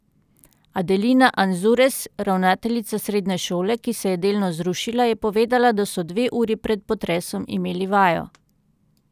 Adelina Anzures, ravnateljica srednje šole, ki se je delno zrušila, je povedala, da so dve uri pred potresom imeli vajo.